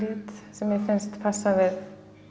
sem mér finnst passa við